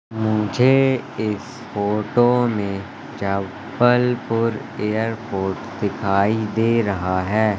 मुझे इस फोटो में जबलपुर एयरपोर्ट दिखाई दे रहा है।